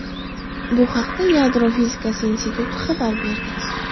Bu haqda Yadro fizikasi instituti xabar berdi .